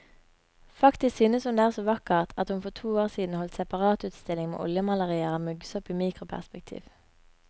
Faktisk synes hun det er så vakkert at hun for to år siden holdt separatutstilling med oljemalerier av muggsopp i mikroperspektiv.